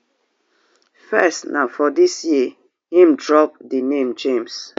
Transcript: first na for dis year im drop di name james